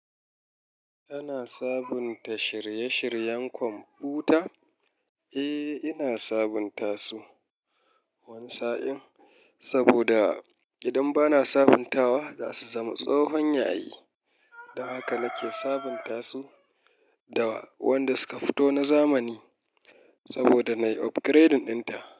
Ana sabunta shirye-shiryen kwamfuta? Eh, ina sabunta su wani sa'in saboda idan bana sabuntawa za su zama tsohon yayi. Don haka nake sabunta su da wanda suka fito na zamani saboda na yi upgrade ɗin ta.